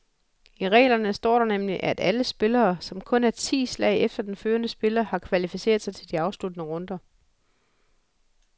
I reglerne står der nemlig, at alle spillere, som kun er ti slag efter den førende spiller, har kvalificeret sig til de afsluttende runder.